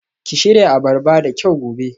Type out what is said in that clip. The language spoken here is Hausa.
Ki shirya abarba da kyau gobe